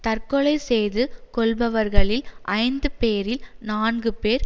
தற்கொலை செய்து கொள்பவர்களில் ஐந்து பேரில் நான்கு பேர்